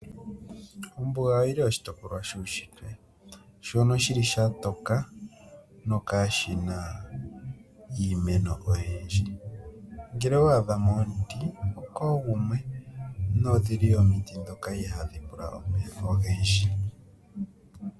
Ombuga oyili oshitopolwa shuushitwe. Shono shili sha toka, nokaashina iimeno oyindji. Ngele owa adha mo omuti, okoogumwe, nodhili omiti ndhoka ihaadhi pula omeya ogendji.